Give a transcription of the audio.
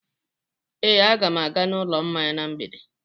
Ee, aga m aga n'ụlọ mmanya na mgbede.